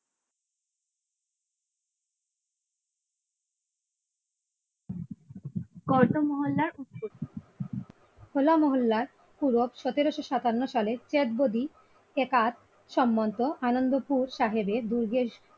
হো লা মহল্লা পূর্ব ক সতেরসসাত্তান্ন সালে চাঁদ বডি একাত সম্বন্ধ আনন্দপুর সাহেবের দুর্গেশ